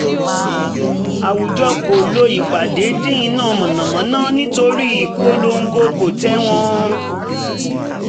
àwùjọ kò lọ ìpàdé dín iná mànàmáná nítorí ìpolongo kò tẹ̀wọ̀n